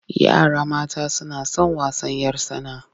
Yara mata suna son wasan 'yar tsana.